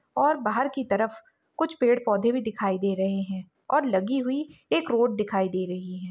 और बाहर कि तरफ कुछ पेड़-पौधे भी दिखाई दे रहें हैं और लगी हुई एक रोड दिखाई दे रही है।